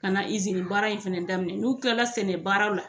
Ka na izini baara in fɛnɛ daminɛ n'u kila sɛnɛ baaraw la.